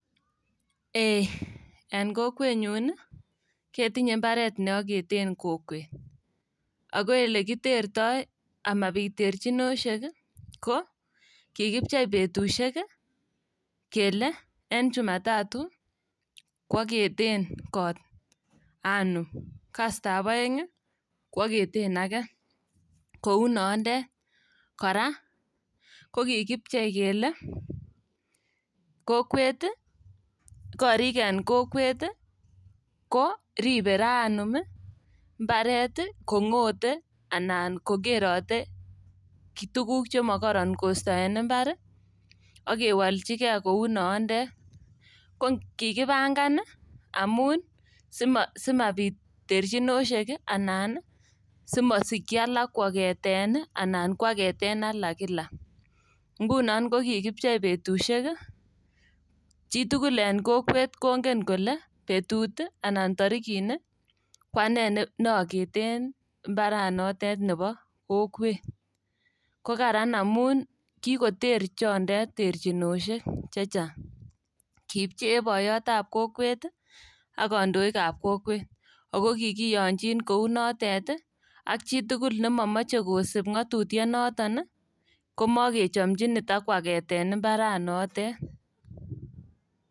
Ee en kokwenyun ketinye mbaret neoketen kokwet ogo ilekiterto amabit terchinosiek ko kikipchei betusiek ii kele en jumatatu kwoketen kot anum, kastab oeng' ii kwoketen age kou nondet. Kora kokikipchei kele kokwet ii korik en kokwet koribe raa anum ii mbaret kong'ote anan kokerote tuguk chemokoron en mbar ii ak kewoljigei kou nonitet. Kokikipangan ii amun simapit terchinosiek anan ii simosikyi alak kwageten anan kwageten alak kila. Ngunon kokikipchei betusiek ii, chitugul en kokwet kongen kole betut ii anan torikini kwane neogeten ii mbaranotet nebo kokwet. Kokaran amun kikoter chondet terchinosiek chehang'. Kipchee boiyotab kokwet ii ak kondoikab kokwet ago kokikiyonjin kou notet ak chitugul nemomoche kosib ng'otutionotet ii komokechomjin itakwageten mbaranotet.